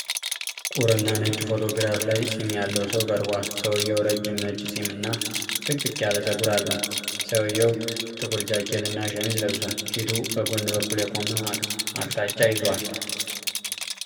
ቁርና ነጭ ፎቶግራፍ ላይ ፂም ያለው ሰው ቀርቧል። ሰውየው ረጅም ነጭ ፂም እና ጥቅጥቅ ያለ ፀጉር አለው። ሰውየው ጥቁር ጃኬት እና ሸሚዝ ለብሷል። ፊቱ በጎን በኩል የቆመ አቅጣጫ ይዟል።